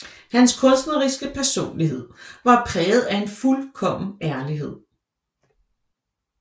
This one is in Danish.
Hans kunstneriske personlighed var præget af en fuldkommen ærlighed